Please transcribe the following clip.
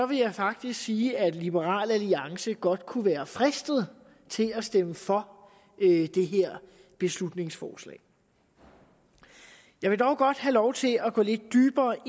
vil jeg faktisk sige at liberal alliance godt kunne være fristet til at stemme for det her beslutningsforslag jeg vil dog godt have lov til at gå lidt dybere